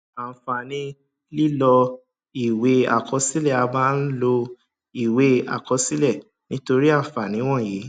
àǹfààní lílọ ìwé àkọsílẹ a máa ń lo ìwé àkọsílẹ nítorí àǹfààní wọnyí